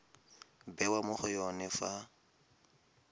bewa mo go yone fa